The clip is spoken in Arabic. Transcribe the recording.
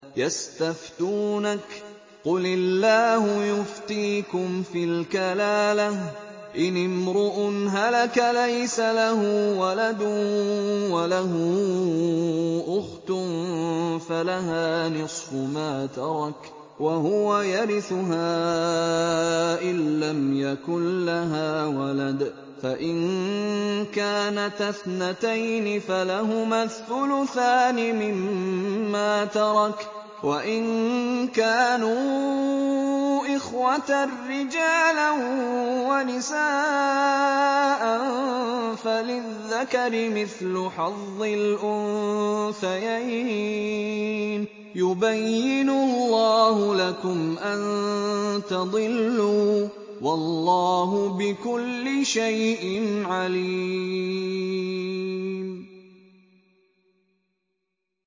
يَسْتَفْتُونَكَ قُلِ اللَّهُ يُفْتِيكُمْ فِي الْكَلَالَةِ ۚ إِنِ امْرُؤٌ هَلَكَ لَيْسَ لَهُ وَلَدٌ وَلَهُ أُخْتٌ فَلَهَا نِصْفُ مَا تَرَكَ ۚ وَهُوَ يَرِثُهَا إِن لَّمْ يَكُن لَّهَا وَلَدٌ ۚ فَإِن كَانَتَا اثْنَتَيْنِ فَلَهُمَا الثُّلُثَانِ مِمَّا تَرَكَ ۚ وَإِن كَانُوا إِخْوَةً رِّجَالًا وَنِسَاءً فَلِلذَّكَرِ مِثْلُ حَظِّ الْأُنثَيَيْنِ ۗ يُبَيِّنُ اللَّهُ لَكُمْ أَن تَضِلُّوا ۗ وَاللَّهُ بِكُلِّ شَيْءٍ عَلِيمٌ